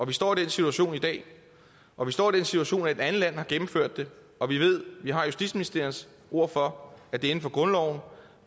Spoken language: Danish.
vi står i den situation i dag og vi står i den situation at et andet land har gennemført det og vi ved at vi har justitsministeriets ord for at det er inden for grundloven